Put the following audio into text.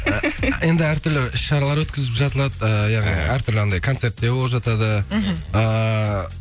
енді әртүрлі іс шаралар өткізіп жатылады эээ яғни әр түрлі анандай концерттер болып жатады мхм ааа